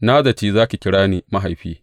Na zaci za ki kira ni Mahaifi’